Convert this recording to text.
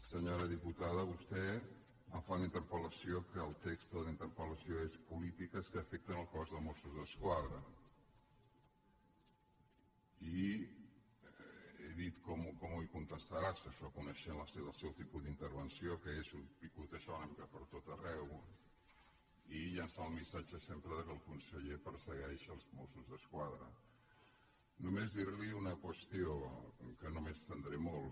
senyora diputada vostè em fa una interpel·lació que el text de la interpel·lació és polítiques que afecten el cos de mossos d’esquadra i he dit com li contestaràs això coneixent el seu tipus d’intervenció que és picotejar una mica pertot arreu i llençar el missatge sempre que el conseller persegueix els mossos d’esquadra només dir·li una qüestió que no m’hi estendré molt